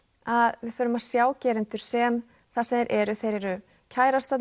að við förum að sjá gerendur sem það sem þeir eru þeir eru